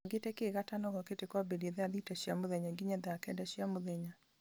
bangĩte kĩ gatano gokĩte kwambĩrĩria thaa thita cia mũthenya nginya thaa kenda cia mũthenya